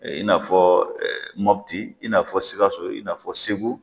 Ee in'a fɔ mɔpiti in'a fɔ sikaso in'afɔ segu